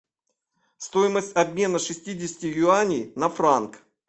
стоимость обмена шестидесяти юаней на франк